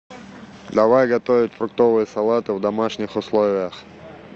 давай готовить фруктовые салаты в домашних условиях